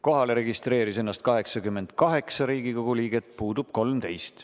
Kohale registreeris ennast 88 Riigikogu liiget, puudub 13.